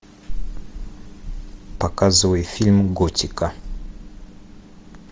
показывай фильм готика